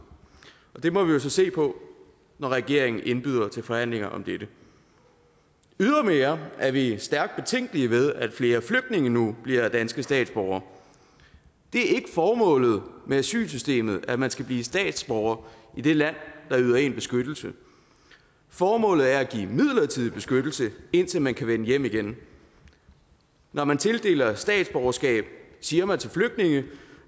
det må vi jo så se på når regeringen indbyder til forhandlinger om dette ydermere er vi stærkt betænkelige ved at flere flygtninge nu bliver danske statsborgere det er ikke formålet med asylsystemet at man skal blive statsborger i det land der yder en beskyttelse formålet er at give midlertidig beskyttelse indtil man kan vende hjem igen når man tildeler statsborgerskab siger man til flygtninge